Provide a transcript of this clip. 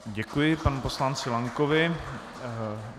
Děkuji panu poslanci Lankovi.